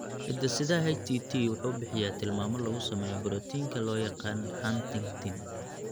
Hidde-sidaha HTT wuxuu bixiyaa tilmaamo lagu sameeyo borotiinka loo yaqaan huntingtin.